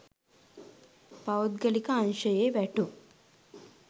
පෞද්ගලික අංශයේ වැටුප්